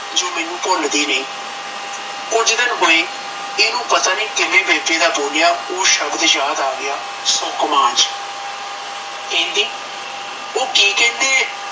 ਜੋ ਮੈਨੂੰ ਭੁੱਲਦੀ ਨਹੀੰ ਕੁਝ ਦਿਨ ਹੋਏ ਇਹਨੂੰ ਪਤਾ ਨਹੀਂ ਕਿਵੇ ਬੇਟੇ ਦਾ ਬੋਲਿਆ ਓਹ ਸ਼ਬਦ ਯਾਦ ਆਗਿਆ ਕਹਿੰਦੀ ਓਹ ਕਹਿੰਦੇ